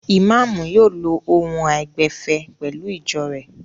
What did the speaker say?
Ìmáámù yóò lo ohùn àìgbẹ̀fẹ̀ pẹ̀lú ìjọ rẹ̀.